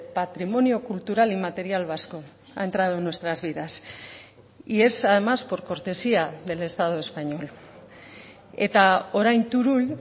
patrimonio cultural y material vasco ha entrado en nuestras vidas y es además por cortesía del estado español eta orain turull